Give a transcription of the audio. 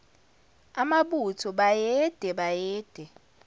amabutho bayede bayede